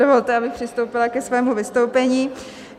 Dovolte, abych přistoupila ke svému vystoupení.